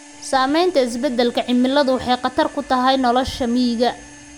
Saamaynta isbeddelka cimiladu waxay khatar ku tahay nolosha miyiga.